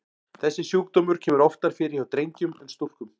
Þessi sjúkdómur kemur oftar fyrir hjá drengjum en stúlkum.